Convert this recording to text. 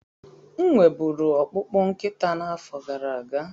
M nwe buru ọkpụkpụ nkịta n'afọ gara aga.